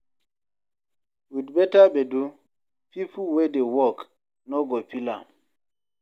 With better gbedu, pipo wey dey work no go feel am